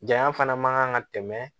Janya fana man kan ka tɛmɛ